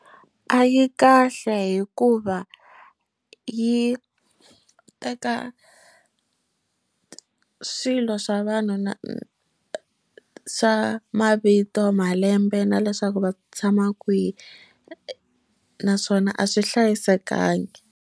A yi kahle hikuva yi teka swilo swa vanhu na swa mavito malembe na leswaku va tshama kwihi naswona a swi hlayisekangi.